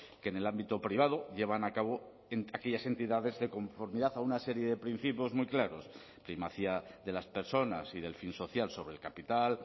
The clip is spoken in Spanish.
que en el ámbito privado llevan a cabo aquellas entidades de conformidad a una serie de principios muy claros primacía de las personas y del fin social sobre el capital